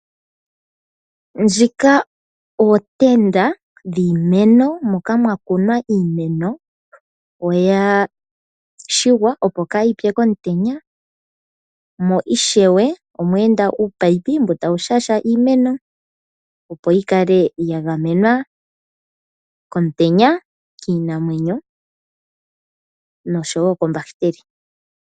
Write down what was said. Ndjika oontenda yiimeno moka mwakunwa iimeno. Oya shigwa, opo kaayipye komutenya mo ishewe omweenda uumunino mboka tawu shashamine iimeno yi kale ya gamenwa komutenya, kiinamwenyo oshowo koombahiteli.